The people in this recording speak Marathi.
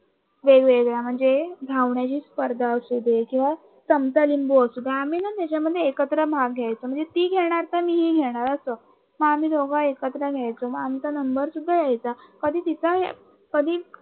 वेगवेगळ्या म्हणजे धावण्याची स्पर्धा असू दे किंवा चमचा लिंबू असू द्या आम्ही ना त्याच्यामध्ये एकत्र भाग घ्यायचं म्हणजे ती घेणार तर मीही घेणार अस आम्ही दोघे एकत्र घ्यायचं मग आमचा नंबर सुद्धा यायचा कधी तिच कधी